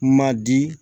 Ma di